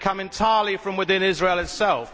They come entirely from within Israel itself.